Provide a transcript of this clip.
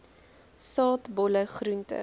saad bolle groente